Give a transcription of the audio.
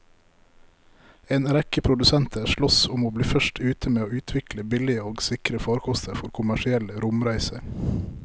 En rekke produsenter sloss om å bli først ute med å utvikle billige og sikre farkoster for kommersielle romreiser.